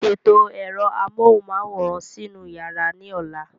Ṣètò ẹ̀rọ amóhùnmáwòrán sínú yàrá ní ọ̀la.